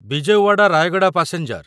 Vijayawada Rayagada passenger